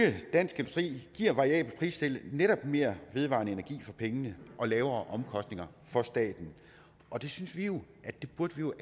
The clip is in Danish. dansk industri giver et variabelt pristillæg netop mere vedvarende energi for pengene og lavere omkostninger for staten og det synes vi jo